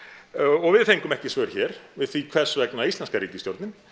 og við fengum ekki svör hér við því hvers vegna íslenska ríkisstjórnin